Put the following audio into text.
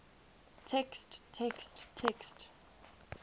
text text text